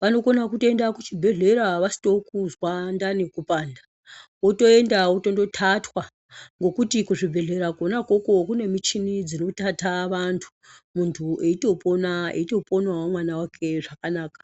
vanokona kutoenda kuchibhedhlera vasitokuzwa ndani kupanda, votoenda votondotatwa, ngokuti kuzvibhedhlera kona ukoko kune michini dzinotata vantu. Muntu eitopona eitoponavo mwana wake zvakanaka.